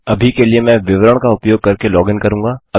अभी के लिए मैं विवरण का उपयोग करके लॉगिन करूँगा